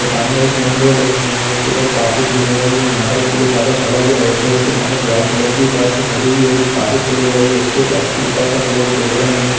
सामने एक main road है इस मैन रोड के ऊपर काफी भीड़ हो गयी है यहाँ पर एक पोलिस वाला खड़ा हुआ है और उसके सामने एक व्हाइट कलर की बस खड़ी हुई है जो काफी फूल हो गयी है उसके बस के ऊपर तक लोग बैठ गए--